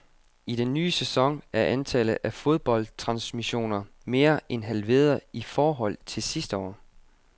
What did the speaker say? I den nye sæson er antallet af fodboldtransmissioner mere end halveret i forhold til sidste år.